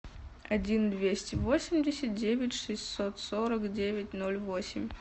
один двести восемьдесят девять шестьсот сорок девять ноль восемь